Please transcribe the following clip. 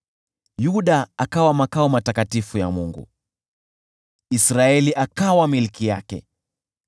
Yuda alifanywa makao matakatifu ya Mungu, Israeli akawa milki yake.